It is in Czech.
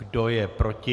Kdo je proti?